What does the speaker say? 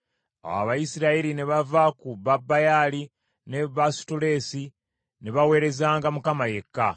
Awo Abayisirayiri ne bava ku Babaali ne Baasutoleesi, ne baweerezanga Mukama yekka.